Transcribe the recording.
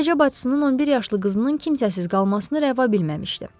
Sadəcə bacısının 11 yaşlı qızının kimsəsiz qalmasını rəva bilməmişdi.